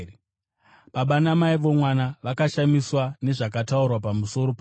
Baba namai vomwana vakashamiswa nezvakataurwa pamusoro pake.